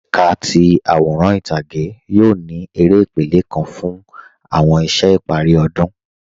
Ẹkà ti aworan itage yoo ni èrè ìpèlẹ̀ kan fun awọn iṣẹ̀ ìpari ọdun.